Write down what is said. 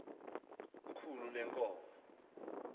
ikhulu lee nkomo